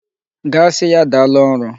Gaa sị ya daalụ ọrụ!